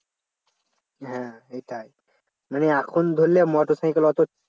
হ্যাঁ সেটাই মানে এখন ধরলে motorcycle অত